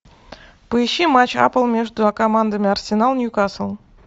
поищи матч апл между командами арсенал ньюкасл